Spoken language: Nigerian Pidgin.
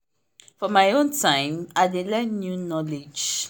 for my own time i dey learn new knowledge.